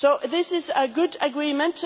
So this is a good agreement.